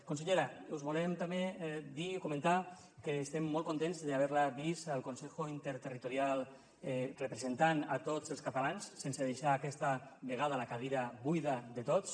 consellera us volem també dir o comentar que estem molt contents d’haver la vist al consejo interterritorial representant a tots els catalans sense deixar aquesta vegada la cadira buida de tots